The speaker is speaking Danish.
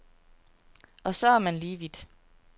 Og så er man lige vidt.